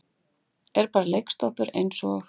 Er bara leiksoppur eins og